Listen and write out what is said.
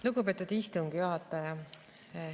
Lugupeetud istungi juhataja!